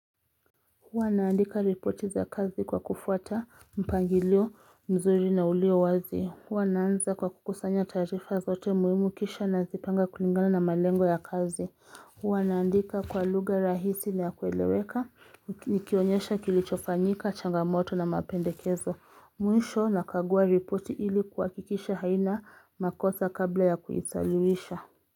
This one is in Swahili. Huwa naandika ripoti za kazi kwa kufuata mpangilio mzuri na ulio wazi. Huwa naanza kwa kukusanya taarifa zote muhimu kisha nazipanga kulingana na malengo ya kazi. Hwa naandika kwa luga rahisi na ya kueleweka, nikionyesha kilichofanyika, changamoto na mapendekezo. Mwisho nakagua ripoti ili kuhakikisha haina makosa kabla ya kuisaliwisha.